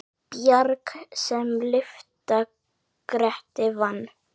Bjarg sem lyfta Grettir vann.